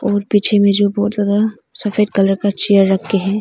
और पीछे में जो बहुत ज्यादा सफेद कलर का चेयर रख के हैं।